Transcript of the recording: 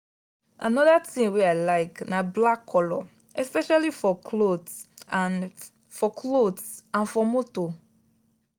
another thing wey i like na black colour especially for cloth and for cloth and for motor.